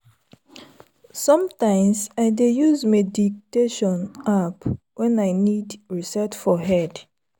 sometimes i dey use meditation app when i need reset for head.